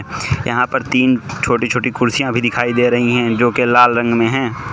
यहां पर तीन छोटी छोटी कुर्सियां भी दिखाई दे रही हैं जो के लाल रंग में हैं।